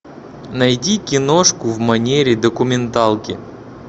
найди киношку в манере документалки